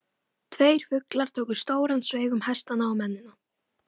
Tveir fuglar tóku stóran sveig um hestana og mennina.